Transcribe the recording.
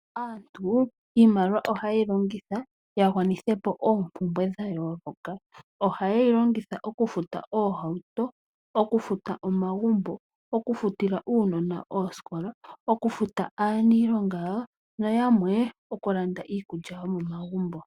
Aantu iimaliwa ohaye yi longitha ya gwanithe po oompumbwe dha yooloka. Ohaye yi longitha okufuta oohauto, omagumbo, okufutila uunona osikola, okufuta aanilonga yawo, naayamwe okulanda iikulya yomomagumbo.